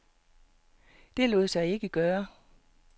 Det lod sig ikke gøre.